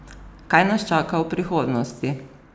Kaj nas čaka v prihodnosti?